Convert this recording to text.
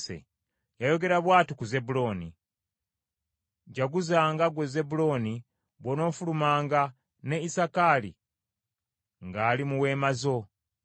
Yayogera bw’ati ku Zebbulooni: “Jaguzanga, ggwe Zebbulooni, bw’onoofulumanga; ne Isakaali ng’ali mu weema zo.